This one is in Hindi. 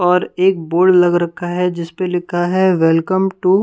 और एक बोर्ड लग रखा है जिस पर लिखा है वेलकम टू --